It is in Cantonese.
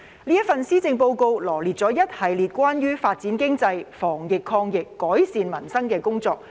這份施政報告羅列了一系列關於發展經濟、防疫抗疫、改善民生的工作。